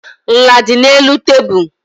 Nla dị n'elu tebụl.